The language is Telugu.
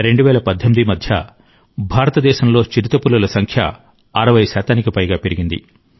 20142018 మధ్య భారతదేశంలో చిరుతపులుల సంఖ్య 60 శాతానికి పైగా పెరిగింది